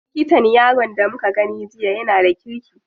Likatan yaron da muka gani jiya yana da kirki.